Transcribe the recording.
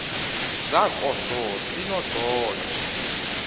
zakososinondola